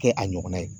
Kɛ a ɲɔgɔnna ye